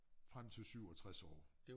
Frem til 67 år